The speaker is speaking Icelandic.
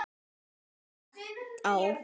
Hún horfir spennt á.